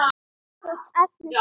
Þú ert ansi fúll.